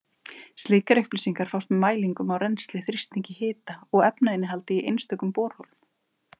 Slíkar upplýsingar fást með mælingum á rennsli, þrýstingi, hita og efnainnihaldi í einstökum borholum.